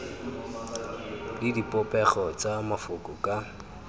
le dipopego tsa mafoko ka